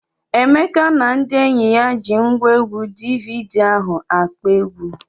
Emeka na ndị enyi ya ji ngwaegwu DVD ahụ akpọ egwu.